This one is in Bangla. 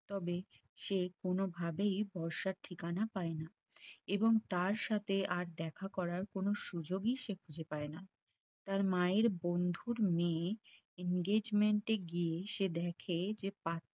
তবে সে কোনভাবেই বর্ষার ঠিকানা পায়না এবং তার সাথে আর দেখা করার কোন সুযোগই সে খুঁজে পাই না তার মায়ের বন্ধুর মেয়ে engagement এ গিয়ে সে দেখে যে পা